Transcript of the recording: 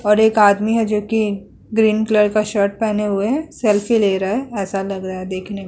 और एक आदमी है जोकि ग्रीन कलर का शर्ट पहने हुए है। सेल्फी ले रहा है। ऐसा लग रहा है देखने में।